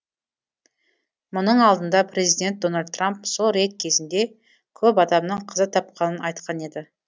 мұның алдында президент дональд трамп сол рейд кезінде көп адамның қаза тапқанын айтқан еді